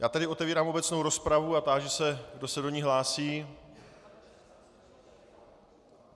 Já tedy otevírám obecnou rozpravu a táži se, kdo se do ní hlásí.